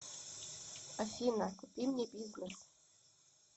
афина купи мне бизнес